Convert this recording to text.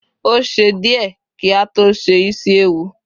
o ṣe diẹ ki a to se isi ẹwù